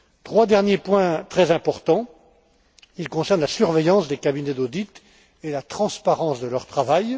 Trois derniers points très importants ils concernent la surveillance des cabinets d'audit et la transparence de leur travail.